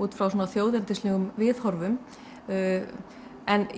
út frá svona viðhorfum